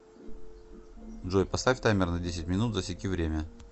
джой поставь таймер на десять минут засеки время